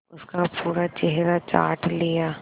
उसका पूरा चेहरा चाट लिया